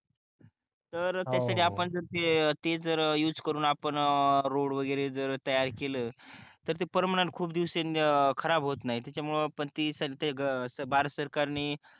तर त्यासाठी आपण जर तेथे जर युज करून आपण रोड वगैरे जर तयार केलं तर ते पर्मनंट खूप दिवसांनी खराब होत नाही त्याच्यामुळे ते करते भारत सरकारने